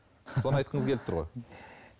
соны айтқыңыз келіп тұр ғой